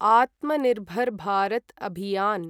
Atmanirbhar Bharat Abhiyan